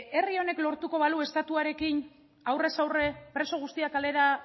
herri honek lortuko balu estatuarekin aurrez aurre preso guztiak kalera